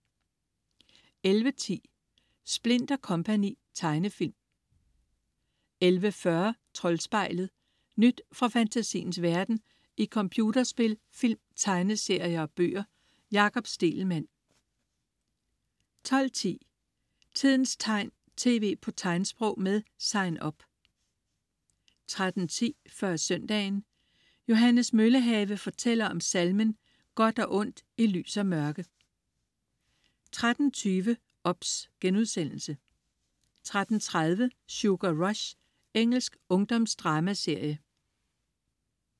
11.10 Splint & Co. Tegnefilm 11.40 Troldspejlet. Nyt fra fantasiens verden i computerspil, film, tegneserier og bøger. Jakob Stegelmann 12.10 Tidens tegn, tv på tegnsprog. Med Sign Up 13.10 Før søndagen. Johannes Møllehave fortæller om salmen "Godt og ondt i lys og mørke" 13.20 OBS* 13.30 Sugar Rush. Engelsk ungdomsdramaserie